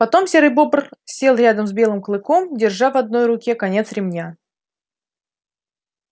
потом серый бобр сел рядом с белым клыком держа в одной руке конец ремня